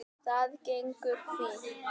Það gengur fínt